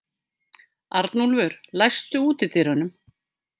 Arnúlfur, læstu útidyrunum.